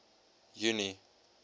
junie